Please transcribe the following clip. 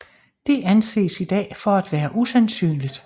Det anses i dag for at være usandsynligt